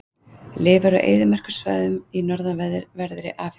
Lifir á eyðimerkursvæðum í norðanverðri Afríku.